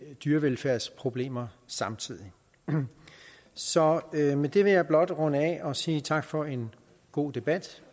dyrevelfærdsproblemer samtidig så med det vil jeg blot runde af og sige tak for en god debat